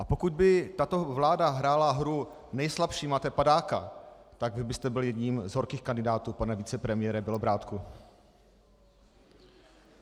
A pokud by tato vláda hrála hru Nejslabší, máte padáka!, tak vy byste byl jedním z horkých kandidátů, pane vicepremiére Bělobrádku.